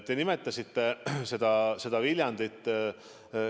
Te nimetasite Viljandit.